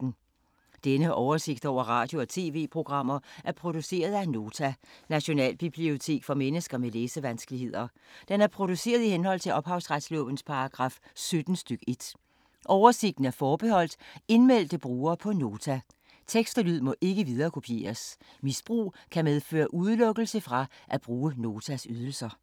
Denne oversigt over radio og TV-programmer er produceret af Nota, Nationalbibliotek for mennesker med læsevanskeligheder. Den er produceret i henhold til ophavsretslovens paragraf 17 stk. 1. Oversigten er forbeholdt indmeldte brugere på Nota. Tekst og lyd må ikke viderekopieres. Misbrug kan medføre udelukkelse fra at bruge Notas ydelser.